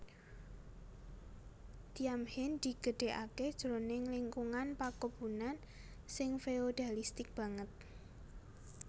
Thiam Hien digedhèkaké jroning lingkungan pakebunan sing feodalistik banget